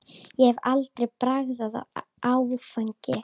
Ég hef aldrei bragðað áfengi.